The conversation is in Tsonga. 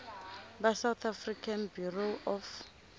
va south african bureau of